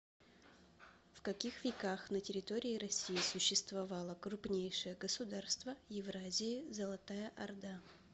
в каких веках на территории россии существовало крупнейшее государство евразии золотая орда